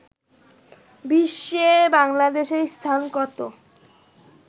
বিশ্বে বাংলাদেশের স্থান কত